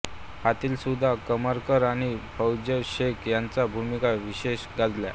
ह्यातील सुधा करमरकर आणि फैय्याज शेख ह्यांच्या भूमिका विशेष गाजल्या